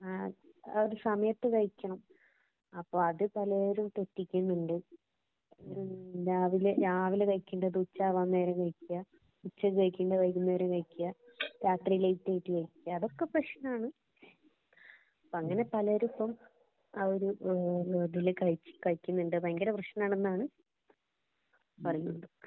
ആ ഒരു സമയത്ത് കഴിക്കണം. അപ്പൊ അത് പലേരും തെറ്റിക്കുന്നുണ്ട്‌. രാവിലെ രാവിലെ കഴിക്കേണ്ടത് ഉച്ചയാവാന്‍ നേരം കഴിക്കുക. , ഉച്ചക്ക് കഴിക്കേണ്ടത് വൈകുന്നേരം കഴിക്കുക. രാത്രി ലേറ്റായിട്ട് കഴിക്കുക. അതൊക്കെ പ്രശ്നമാണ്. അങ്ങനെ പലരും ഇപ്പം ആ ഒരു ഇതില് കഴിക്കുന്നുണ്ട്. ഭയങ്കര പ്രശ്നമാണെന്നാണ് പറയുന്നത്.